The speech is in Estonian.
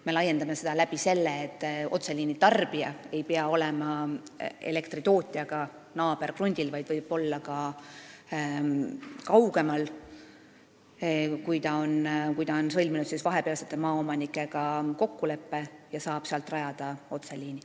Me laiendame neid sel moel, et otseliini tarbija ei pea olema naaberkrundil, vaid võib olla ka kaugemal, kui ta on sõlminud vahepealsete maaomanikega kokkuleppe ja saab niimoodi rajada otseliini.